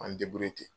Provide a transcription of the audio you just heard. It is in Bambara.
An